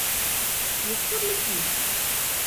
Kje spodleti?